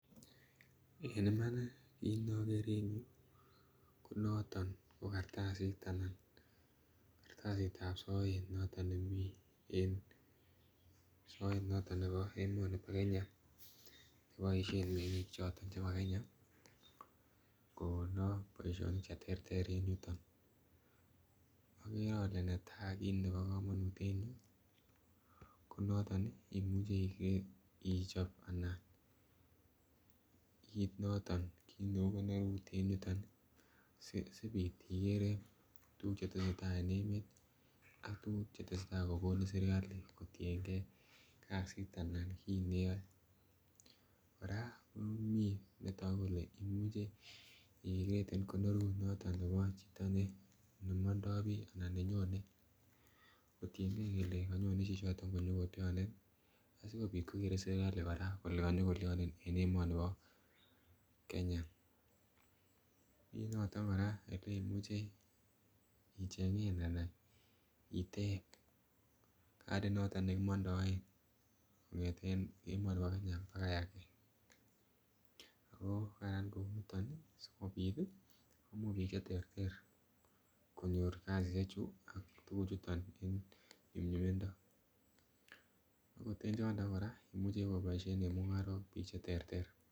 En Iman nii kit nokere en yuu ko noton ko kartasit anan kartasitab soet noton nemii en soet noto nebo emoni bo Kenya neboishen mengik choton chebo Kenya konoo boishonik cheterter en yuton, okere ole netai kit nebo komonut en ireyuu ko noton Nii imuche Ichop anan kit noton kit neu konorut en yuton nii si siput ikere tukuk chetesetai en emet ak tukuk chetesetai kokonin serkali kotiyengee kasit anan kit neyoe. Koraa komii netoku kole imuche I created konorut noton nebo chito be nemondo biii ana ko nenyone kotiyengee kole konyone chichoton konyo kilionee asikopit kokere sirkali Koraa kole konyo kolionee en emoni bo Kenya. Mii noton Koraa ileimuche ichengen an itep katit noton nekimondoe kongeten emoni bo Kenya bakai age ako Karan kouniton nii sikopit tii komuch bik cheterter konyor kasishek chuton en nyumnyumindo, ot en yondo koraa imuche koboishen en mungarok bik chereter.